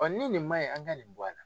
Ɔ ni nin man ɲi, an ka nin bɔ a la.